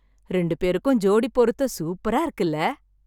ரெண்டு பேருக்கும் ஜோடிப் பொருத்தம் சூப்பரா இருக்குல்ல...